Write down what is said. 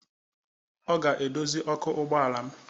Ọ ga-edozi ọkụ ụgbọala m